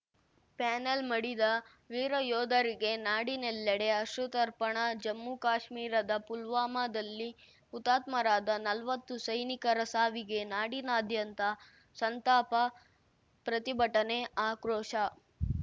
panel ಮಡಿದ ವೀರಯೋಧರಿಗೆ ನಾಡಿನೆಲ್ಲೆಡೆ ಅಶ್ರುತರ್ಪಣ ಜಮ್ಮುಕಾಶ್ಮೀರದ ಪುಲ್ವಾಮಾದಲ್ಲಿ ಹುತಾತ್ಮರಾದ ನಲ್ವತ್ತು ಸೈನಿಕರ ಸಾವಿಗೆ ನಾಡಿದಾದ್ಯಂತ ಸಂತಾಪ ಪ್ರತಿಭಟನೆ ಆಕ್ರೋಶ